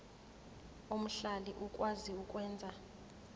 omhlali okwazi ukwenza